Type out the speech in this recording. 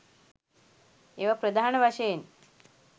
ඒවා ප්‍රධාන වශයෙන්